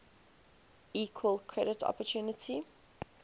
equal credit opportunity